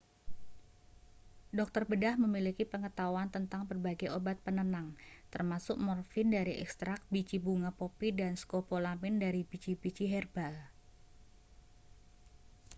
dokter bedah memiliki pengetahuan tentang berbagai obat penenang termasuk morfin dari ekstrak biji bunga popi dan skopolamin dari biji-biji herban